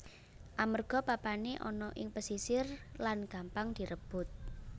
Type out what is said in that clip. Amerga papané ana ing pesisir lan gampang direbut